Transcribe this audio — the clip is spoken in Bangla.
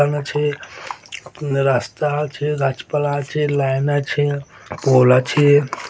পাম্প আছে রাস্তা আছে গাছপালা আছে লাইন আছে পোল আছে ।